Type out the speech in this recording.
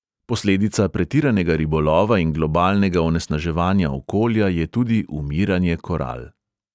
Posledica pretiranega ribolova in globalnega onesnaževanja okolja je tudi umiranje koral.